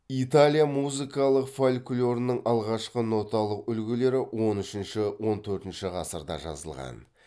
италияның музыкалық фольклорының алғашқы ноталық үлгілері он үшінші он төртінші ғасырда жазылған